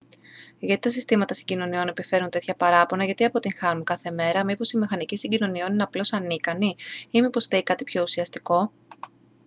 γιατί τα συστήματα συγκοινωνιών επιφέρουν τέτοια παράπονα γιατί αποτυγχάνουν κάθε μέρα μήπως οι μηχανικοί συγκοινωνιών είναι απλώς ανίκανοι ή μήπως φταίει κάτι πιο ουσιαστικό